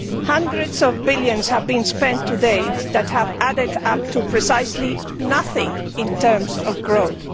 Hundreds of billions have been spent to date that have added up to precisely nothing in terms of growth.